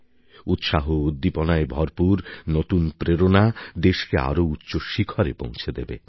উৎসাহউদ্দীপনায় ভরপুর নতুন প্রেরণা দেশকে আরও উচ্চ শিখরে পৌঁছে দেবে